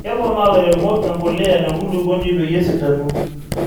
keponaa ilairemok empulea te nkulukuoni peyie esidanu